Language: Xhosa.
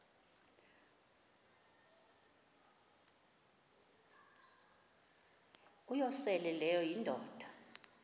uyosele leyo indoda